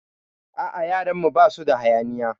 A'a, yaran mu basu da hayaniya.